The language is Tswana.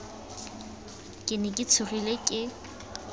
ke ne ke tshogile ke